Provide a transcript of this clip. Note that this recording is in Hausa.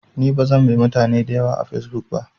Ni bazan bi mutane dayawa a fesbuk ba